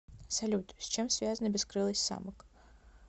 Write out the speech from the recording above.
салют с чем связана бескрылость самок